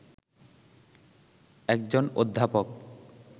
একজন অধ্যাপক